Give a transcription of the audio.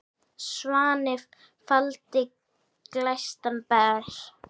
Svanni faldinn glæstan ber.